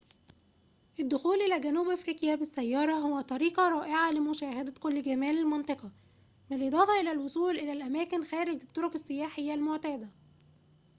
الدخول إلى جنوب أفريقيا بالسّيارة هو طريقةٌ رائعةٌ لمشاهدة كل جمال المنطقة بالإضافة إلى الوصول إلى الأماكن خارج الطرق السياحية المعتادة